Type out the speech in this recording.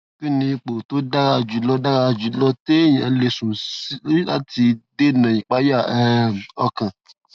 kí ni ipò tó dára jù lọ dára jù lọ téèyàn lè sùn sí láti dènà ìpayà um ọkàn